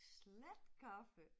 Slatkaffe